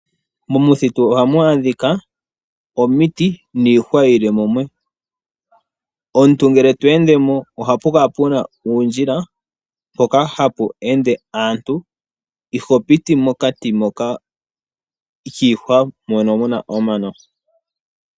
Momuthitu ohadhi adhika omiti, niihwa yi li mumwe. Omuntu ngele to endemo, ohapu kala puna uundjila, mpoka hapu ende aantu, iho piti mokati kiihwa mono muna omano.